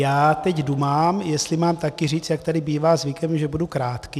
Já teď dumám, jestli mám taky říct, jak tady bývá zvykem, že budu krátký.